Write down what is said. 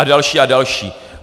A další a další.